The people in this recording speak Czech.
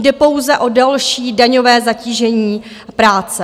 Jde pouze o další daňové zatížení práce.